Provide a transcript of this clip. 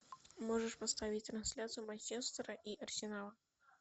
можешь поставить трансляцию манчестера и арсенала